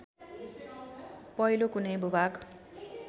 पहिलो कुनै भूभाग